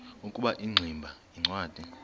ukuba ingximba yincwadi